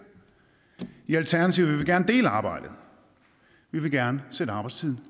i alternativet vil vi gerne dele arbejdet vi vil gerne sætte arbejdstiden